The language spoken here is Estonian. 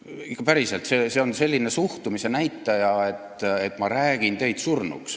Ma küsin ikka päriselt, see on selline suhtumise näitaja, et ma räägin teid surnuks.